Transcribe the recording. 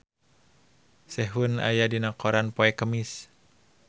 Sehun aya dina koran poe Kemis